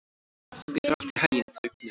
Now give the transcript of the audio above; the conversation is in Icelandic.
Gangi þér allt í haginn, Draupnir.